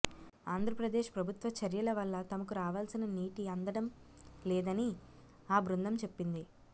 ఆంధ్రప్రదేశ్ ప్రభుత్వ చర్యల వల్ల తమకు రావాల్సిన నీటి అందడం లేదని ఆ బృందం చెప్పింది